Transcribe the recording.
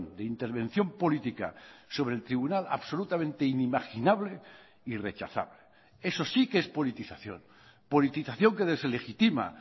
de intervención política sobre el tribunal absolutamente inimaginable y rechazable eso sí que es politización politización que deslegitima